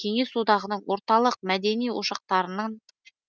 кеңес одағының орталық мәдени ошақтарынан